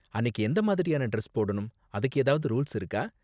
அன்னிக்கு எந்த மாதிரியான டிரெஸ் போடணும், அதுக்கு ஏதாவது ரூல்ஸ் இருக்கா?